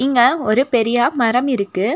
இங்க ஒரு பெரியா மரம் இருக்கு.